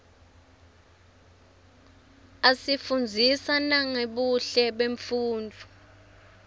asifundzisa nangebuhle bemfunduo